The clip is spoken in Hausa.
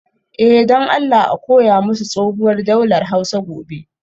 Eh, don Allah a koya musu tsohuwar daular Hausa gobe